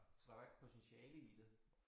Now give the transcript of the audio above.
Så der var ikke potentiale i det